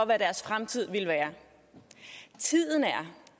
hvad deres fremtid ville være tiden er